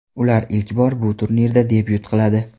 Ular ilk bor bu turnirda debyut qiladi.